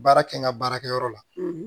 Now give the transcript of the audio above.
Baara kɛ n ka baarakɛyɔrɔ la